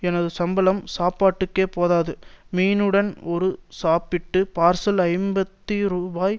எனது சம்பளம் சாப்பாட்டுக்கே போதாது மீனுடன் ஒரு சாப்பாட்டுப் பார்சல் ஐம்பது ரூபாய்